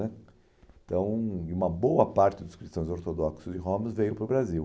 né então, uma boa parte dos cristãos ortodoxos de Homs veio para o Brasil.